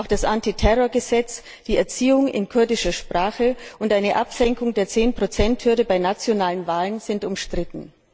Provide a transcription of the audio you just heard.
Auch das Antiterrorgesetz, die Erziehung in kurdischer Sprache und eine Absenkung der Zehnprozenthürde bei nationalen Wahlen sind umstritten.